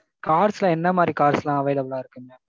cars ல என்ன மாறி cars எல்லாம் available லா இருக்குங்க?